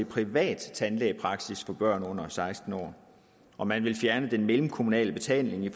privat tandlægepraksis for børn under seksten år og man vil fjerne den mellemkommunale betaling i